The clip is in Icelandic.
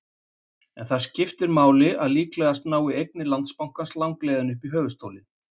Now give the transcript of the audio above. En skiptir það máli að líklega nái eignir Landsbankans langleiðina upp í höfuðstólinn?